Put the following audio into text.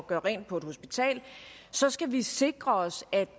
gøre rent på et hospital så skal vi sikre os at